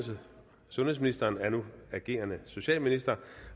sundhedsministeren er nu agerende socialminister